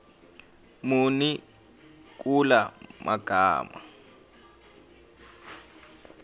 muni kula magama